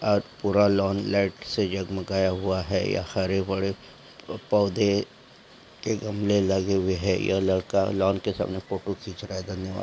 ओर पूरा lawn light से जगमगाया हुआ है यहा हरे- भरे पोधे के गमले लगे हुए है यह लड़का लोन के सामने फोटो खीच रहा है धन्यवाद।